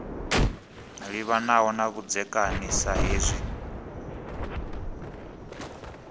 livhanaho na vhudzekani sa hezwi